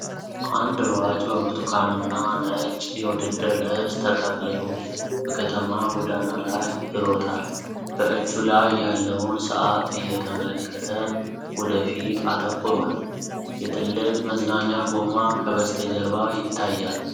አንድ ሯጭ በብርቱካንና ነጭ የውድድር ልብስ ተጠቅልሎ በከተማ ጎዳና ላይ ይሮጣል። በእጁ ላይ ያለውን ሰዓት እየተመለከተ ወደ ፊት አተኩሯል። የትልቅ መዝናኛ ጎማ ከበስተጀርባ ይታያል።